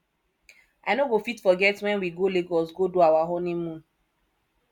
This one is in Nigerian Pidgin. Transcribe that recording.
i no go fit forget wen we go lagos go do our honeymoon